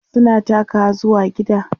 suna takawa zuwa gida